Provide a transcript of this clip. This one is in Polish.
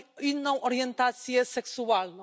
inną orientację seksualną.